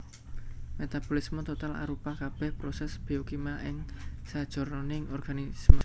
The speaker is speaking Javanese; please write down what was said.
Metabolisme total arupa kabèh prosès biokimia ing sajroning organisme